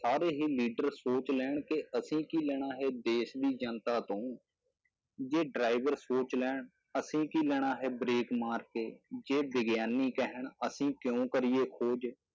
ਸਾਰੇ ਹੀ leader ਸੋਚ ਲੈਣ ਕਿ ਅਸੀਂ ਕੀ ਲੈਣਾ ਹੈ ਦੇਸ ਦੀ ਜਨਤਾ ਤੋਂ, ਜੇ driver ਸੋਚ ਲੈਣ, ਅਸੀਂ ਕੀ ਲੈਣਾ ਹੈ break ਮਾਰ ਕੇ, ਜੇ ਵਿਗਿਆਨੀ ਕਹਿਣ ਅਸੀਂ ਕਿਉਂ ਕਰੀਏ ਖੋਜ,